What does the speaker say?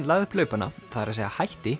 lagði upp laupana það er að segja hætti